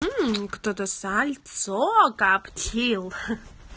мм кто-то сальцо коптил